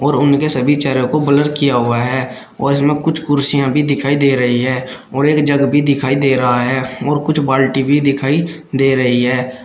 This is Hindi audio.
उनके सभी चेहरे को ब्लर किया हुआ है और इसमें कुछ कुर्सियां भी दिखाई दे रही है और एक जग भी दिखाई दे रहा है और कुछ बाल्टी भी दिखाई दे रही है।